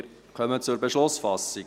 Wir kommen zur Beschlussfassung.